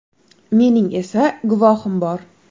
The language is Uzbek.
Mening esa guvohim bor.